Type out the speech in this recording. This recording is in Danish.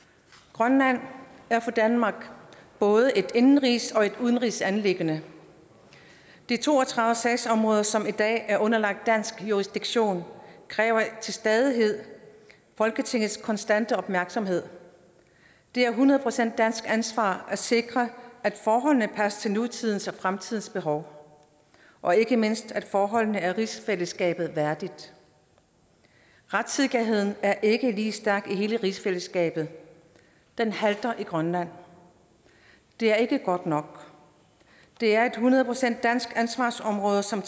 grønland er for danmark både et indenrigs og et udenrigsanliggende de to og tredive sagsområder som i dag er underlagt dansk jurisdiktion kræver til stadighed folketingets konstante opmærksomhed det er hundrede procent dansk ansvar at sikre at forholdene passer til nutidens og fremtidens behov og ikke mindst at forholdene er rigsfællesskabet værdige retssikkerheden er ikke lige stærk i hele rigsfællesskabet den halter bagefter i grønland det er ikke godt nok det er hundrede procent et dansk ansvarsområde som